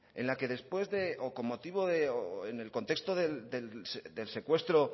en las que con motivo del contexto del secuestro